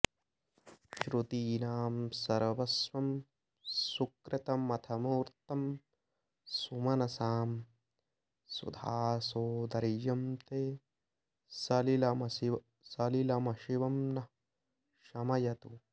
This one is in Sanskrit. श्रुतीनां सर्वस्वं सुकृतमथ मूर्तं सुमनसां सुधासोदर्यं ते सलिलमशिवं नः शमयतु